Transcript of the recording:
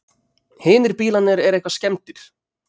Hinir bílarnir eru eitthvað skemmdir